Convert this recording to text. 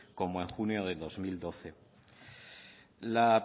como el junio de dos mil doce la